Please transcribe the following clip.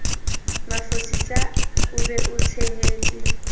mafosisa o be o tshehetse